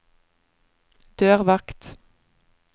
dørvakt